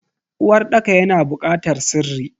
Uwarɗaka yana bukatar sirri.